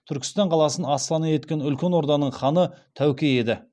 түркістан қаласын астана еткен үлкен орданың ханы тәуке еді